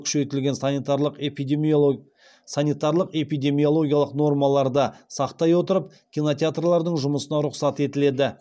күшейтілген санитарлық эпидемиологиялық нормаларды сақтай отырып кинотеатрлардың жұмысына рұқсат етіледі